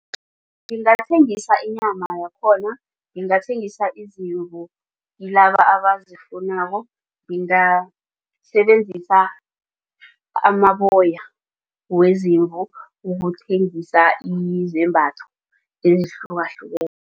Ngithengisa inyama yakhona ngingathengisa izimvu kilaba abazifunako ngingasebenzisa amaboya wezimvu ukuthengisa